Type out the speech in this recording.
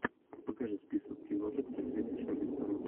покажи список киношек с актрисой шарлиз терон